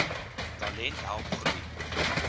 talent help groei